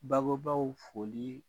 Babobaw folii